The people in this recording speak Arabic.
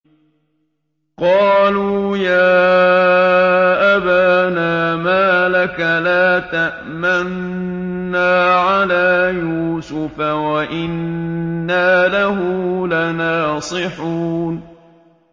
قَالُوا يَا أَبَانَا مَا لَكَ لَا تَأْمَنَّا عَلَىٰ يُوسُفَ وَإِنَّا لَهُ لَنَاصِحُونَ